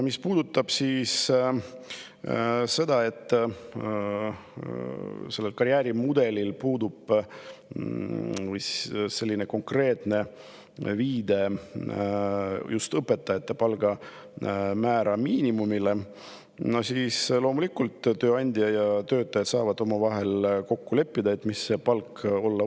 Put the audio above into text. Mis puudutab seda, et sellel karjäärimudelil puudub konkreetne viide õpetajate palgamäära miinimumile, siis loomulikult saavad tööandja ja töötajad omavahel kokku leppida, mis see palk võiks olla.